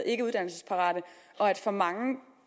ikkeuddannelsesparate og at for mange